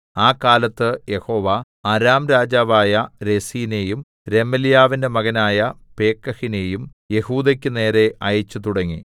ആ കാലത്ത് യഹോവ അരാം രാജാവായ രെസീനെയും രെമല്യാവിന്റെ മകനായ പേക്കഹിനെയും യെഹൂദക്കുനേരെ അയച്ചു തുടങ്ങി